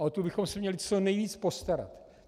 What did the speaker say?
A o tu bychom se měli co nejvíc postarat.